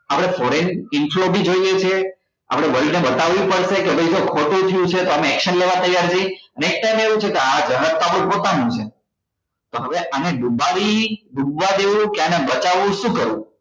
આપડે foreign જોવો છે આપડે world ને બતાવવું પડશે કે ભાઈ જો ખોટું થયું છે તો અમે action લેવા તૈયાર છીએ next time આવું છે કે આ જહાજ આપડું પોતાનું છે તો હવે આને દુબડવી આને ડૂબવા દેવું કે આને બચાવવું શું કરવું